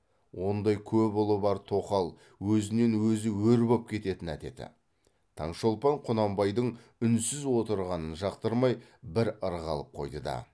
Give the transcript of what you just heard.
ондай көп ұлы бар тоқал өзінен өзі өр боп кететін әдеті таңшолпан құнанбайдың үнсіз отырғанын жақтырмай бір ырғалып қойды да